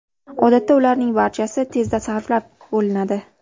Odatda ularning barchasi tezda sarflab bo‘linadi.